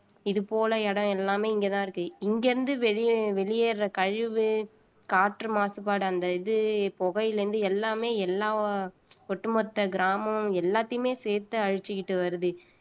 இது போல இடம் எல்லாமே இங்கதான் இருக்கு இங்க இருந்து வெளியே வெளியேறுற கழிவு காற்று மாசுபாடு அந்த இது புகையில இருந்து எல்லாமே எல்லா ஒட்டுமொத்த கிராமம் எல்லாத்தையுமே சேர்த்து அழிச்சுக்கிட்டு வருது